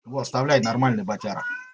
во оставляет нормальный батяра